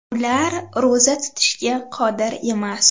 Ular ro‘za tutishga qodir emas.